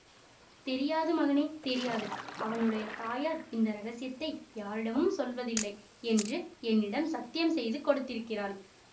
தெரியாது மகனே தெரியாது அவனுடைய தாயார் இந்த இரகசியத்தை யாரிடமும் சொல்வதில்லை என்று என்னிடம் சத்தியம் செய்து கொடுத்திருக்கிறாள்